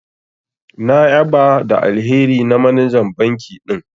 Na ƴaba da alheri na manajan banki din.